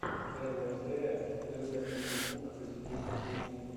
первая серия людаизикук позитивной кухни